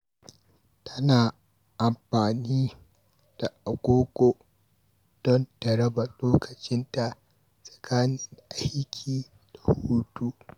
Tana amfani da agogo domin ta raba lokacinta tsakanin aiki da hutu.